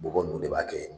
Bɔgɔ ninnu de b'a kɛ